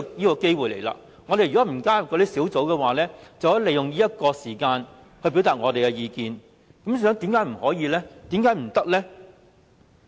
如果我們沒有加入小組委員會，便可以利用這個時間來表達意見，為甚麼不可以呢？